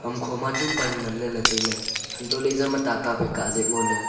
ham kho ma chu pan nganla le taile hanto le ijamma tata phai kaa je ngole.